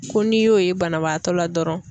Ko n'i y'o ye banabaatɔ la dɔrɔn